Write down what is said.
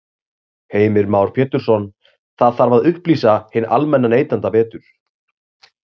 Heimir Már Pétursson: Það þarf að upplýsa hinn almenna neytanda betur?